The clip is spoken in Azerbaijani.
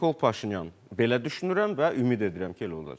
Nikol Paşinyan, belə düşünürəm və ümid edirəm ki, elə olacaq.